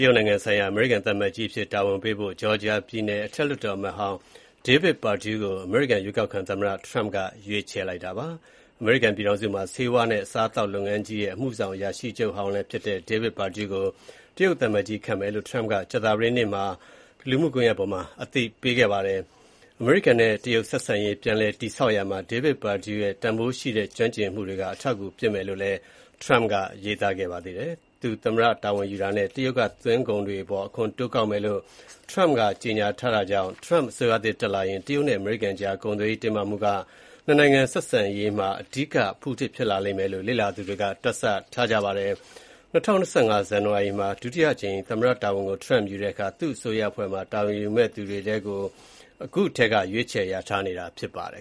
ရုတ်နိုင်ငံဆိုင်ရာ အမေရိကန်သံအမတ်ကြီးအဖြစ် တာဝန်ပေးဖို့ Georgia ပြည်နယ် အထက်လွှတ်တော်အမတ်ဟောင်းကို အမေရိကန်ရွေးကောက်ခံသမ္မတ Donald Trump က ရွေးချယ်လိုက်ပါတယ်။ အမေရိကန်ပြည်ထောင်စုမှာ ဆေးဝါးနဲ့ အစားအသောက်လုပ်ငန်းကြီးရဲ့ အမှုဆောင်အရာရှိချုပ် ဟောင်းလည်းဖြစ်၊Georgia ပြည်နယ် အထက်လွှတ်တော် အမတ်ဟောင်းလည်းဖြစ်တဲ့ David Perdue ကို တရုတ်သံအမတ်ကြီးခန့်မယ်လို့ရွေးကောက်ခံသမ္မတ Trump က ကြာသပတေးနေ့က လူမှုကွန်ရက်ပေါ်မှာ အသိပေးခဲ့ပါတယ်။ အမေရိကန်နဲ့ တရုတ်ဆက်ဆံရေး ပြန်လည် တည်ဆောက်ရာမှာ David Perdue ရဲ့ တန်ဖိုးရှိတဲ့ ကျွမ်းကျင်မှုတွေက အထောက်အကူဖြစ်မယ်လို့ Trump ကရေးသားခဲ့ပါတယ်။ သူသမ္မတ တာဝန်ယူတာနဲ့ တရုတ်က သွင်းကုန်တွေအပေါ် အခွန်တိုးကောက်မယ်လို့ Trump ကကြေညာထားတာကြောင့်Trump အစိုးရသစ်တက်လာရင် တရုတ်နဲ့ အမေရိကန်ကြား ကုန်သွယ်ရေးတင်းမာမှုက ၂ နိုင်ငံဆက်ဆံရေးမှာ အဓိကအဖုအထစ်ဖြစ်လိမ့်မယ်လို့ လေ့လာသူတွေက တွက်ဆထားကြပါတယ်။ ၂၀၂၅ ဇန်နဝါရီမှာ ဒုတိယအကြိမ် သမ္မတတာဝန်ကို Trump ယူတဲ့အခါ သူ့အစိုးရအဖွဲ့မှာ တာဝန်ယူမယ့်သူတွေကို အခုထဲက ရွေးချယ်လျာထားနေတာဖြစ်ပါတယ်